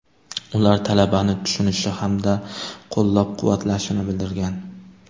Ular talabani tushunishi hamda qo‘llab-quvvatlashini bildirgan.